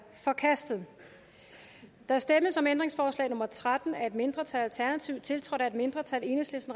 forkastet der stemmes om ændringsforslag nummer tretten af et mindretal tiltrådt af et mindretal og